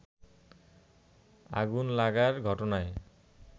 আগুন লাগার ঘটনায়